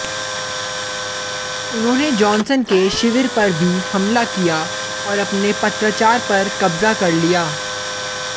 उन्होंने जॉनसन के शिविर पर भी हमला किया और अपने पत्राचार पर कब्जा कर लिया